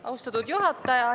Austatud juhataja!